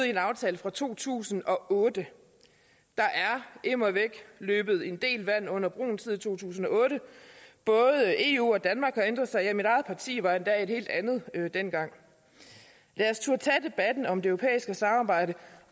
i en aftale fra to tusind og otte der er immer væk løbet en del vand under broen siden to tusind og otte både eu og danmark har ændret sig ja mit eget parti var endda et helt andet dengang lad os turde tage debatten om det europæiske samarbejde